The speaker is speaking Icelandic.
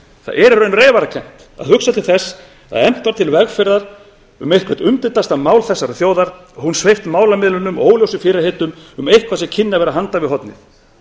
það er í raun reyfarakennt að hugsa til þess að efnt var til vegferðar um eitthvert umdeildasta mál þessarar þjóðar og hún sveipt málamiðlunum og óljósum fyrirheitum um eitthvað sem kynni að vera handan við hornið